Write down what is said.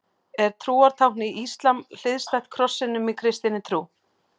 Er til trúartákn í íslam hliðstætt krossinum í kristinni trú?